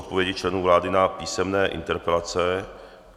Odpovědi členů vlády na písemné interpelace